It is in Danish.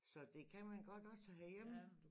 Så det kan man godt også herhjemme